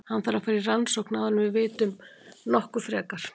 Hann þarf að fara í rannsókn áður en við vitum nokkuð frekar.